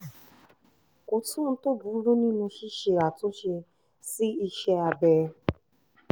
kò sóhun tó burú nínú ṣíṣe àtúnṣe sí iṣẹ́ abẹ